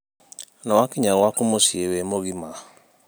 Nĩwakinya gwaku mũciĩ wĩ mũgima?